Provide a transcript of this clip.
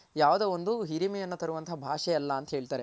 ಯಾವ್ದೋ ಒಂದು ಹಿರಿಮೆ ಅನ್ನೊ ತರೊ ಭಾಷೆ ಅಲ್ಲ ಅಂತ ಹೇಳ್ತಾರೆ